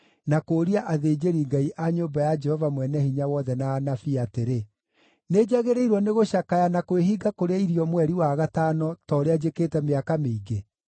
na kũũria athĩnjĩri-Ngai a nyũmba ya Jehova Mwene-Hinya-Wothe na anabii atĩrĩ, “Nĩnjagĩrĩirwo nĩ gũcakaya na kwĩhinga kũrĩa irio mweri wa gatano, ta ũrĩa njĩkĩte mĩaka mĩingĩ?”